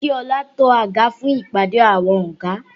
Mo ní kí ọlá to àga fún ìpàdé àwọn ọ̀gá